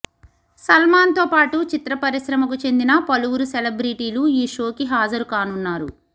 సల్మాన్ తో పాటు చిత్ర పరిశ్రమకు చెందిన పలువురు సెలబ్రిటీలు ఈ షోకి హాజరు కానున్నారు